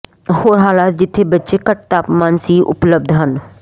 ਹੋਰ ਹਾਲਾਤ ਜਿੱਥੇ ਬੱਚੇ ਘੱਟ ਤਾਪਮਾਨ ਸੀ ਉਪਲਬਧ ਹਨ